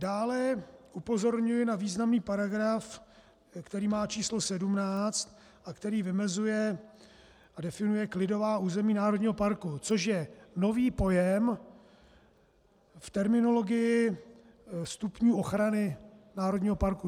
Dále upozorňuji na významný paragraf, který má číslo 17 a který vymezuje a definuje klidová území národního parku, což je nový pojem v terminologii stupňů ochrany národního parku.